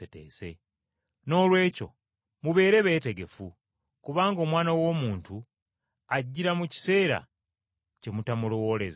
Noolwekyo mubeere beetegefu. Kubanga Omwana w’Omuntu, ajjira mu kiseera kye mutamulowoolezaamu.”